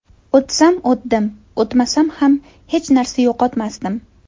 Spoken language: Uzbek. O‘tsam o‘tdim, o‘tmasam ham hech narsa yo‘qotmasdim.